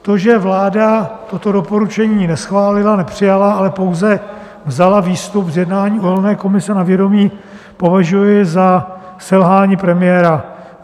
To, že vláda toto doporučení neschválila, nepřijala, ale pouze vzala výstup z jednání uhelné komise na vědomí, považuji za selhání premiéra.